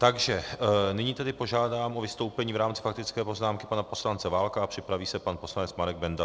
Takže nyní tedy požádám o vystoupení v rámci faktické poznámky pana poslance Válka a připraví se pan poslanec Marek Benda.